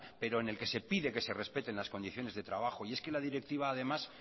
pero en el que se pide que se respeten las condiciones de trabajo y es que la directiva además